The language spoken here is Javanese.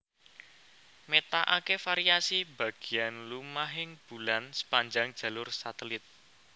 Métakaké variasi bagéan lumahing bulan sepanjang jalur satelit